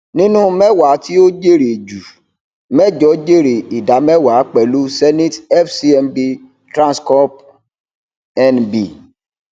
ṣeto akanti iṣiro ẹrọ fun ọdun mẹta nipa gbigba ida marundinlọgbọn ninu ọgọrunun lọdọọdun fun idinku